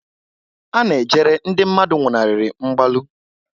A na-ejere ndị mmadụ nwụnarịrị mgbalu